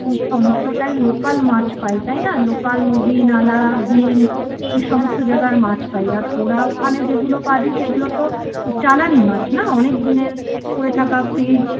সমস্তটাই local মাছ পাই তাই না local নদী নালা বিল এ সমস্ত জায়গার মাছ পাই আর তোরা ওখানে যেগুলো পাবি সেগুলো তো চালানি মাছ না অনেক দিনের পড়ে থাকা fridge